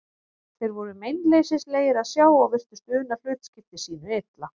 Þeir voru meinleysislegir að sjá og virtust una hlutskipti sínu illa.